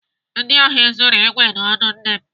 Ndị ohi zuru ikwe na ọdụ nne m.